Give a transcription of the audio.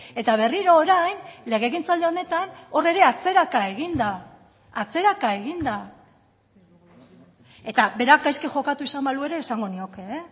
eta berriro orain legegintzaldi honetan hor ere atzeraka egin da atzeraka egin da eta berak gaizki jokatu izan balu ere esango nioke